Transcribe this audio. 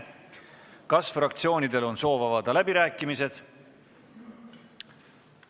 Kas fraktsioonidel on soovi pidada läbirääkimisi?